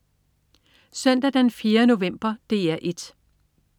Søndag den 4. november - DR 1: